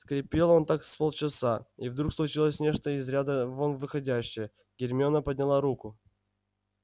скрипел он так с полчаса и вдруг случилось нечто из ряда вон выходящее гермиона подняла руку